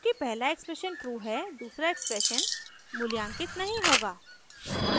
चूँकि पहला expression true है दूसरा एक्सप्रेशन मूल्यांकित नहीं होगा